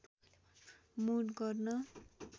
mood गर्न